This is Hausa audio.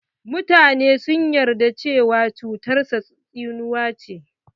Mutane sun yarda cewa cutar sa tsinuwa ce.